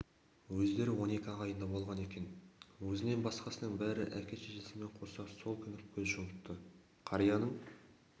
өздері он екі ағайынды болған екен өзінен басқасының бәрі әке-шешесімен қоса сол күні көз жұмыпты қарияның